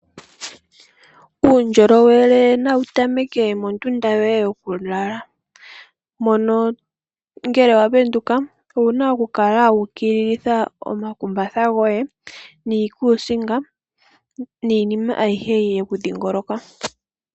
Uundjolowele nawu tameke mondunda yoye yokulala mono ngele wa penduka owuna oku kala wa ukililitha omakumbatha goye, niikuusinga niinima ayihe yeku dhiingoloka.